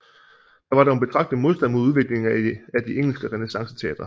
Der var dog betragtelig modstand mod udviklingen af de engelske renæssanceteatre